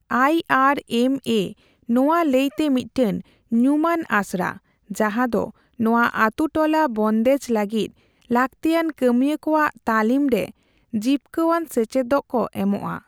ᱟᱭ ᱟᱨ ᱮᱢ ᱮ ᱱᱚᱣᱟ ᱞᱟᱹᱭᱛᱮ ᱢᱤᱫᱴᱟᱝ ᱧᱩᱢᱟᱱ ᱟᱥᱲᱟ, ᱡᱟᱦᱟᱸᱫᱚ ᱱᱚᱣᱟ ᱟᱛᱩᱴᱚᱞᱟ ᱵᱚᱱᱫᱮᱡᱽ ᱞᱟᱹᱜᱤᱫ ᱞᱟᱹᱠᱛᱤᱭᱟᱱ ᱠᱟᱹᱢᱤᱭᱟᱹ ᱠᱚᱣᱟᱜ ᱛᱟᱹᱞᱤᱢᱨᱮ ᱡᱤᱯᱠᱟᱹᱣᱟᱱ ᱥᱮᱪᱮᱫᱠᱚ ᱮᱢᱚᱜᱼᱟ ᱾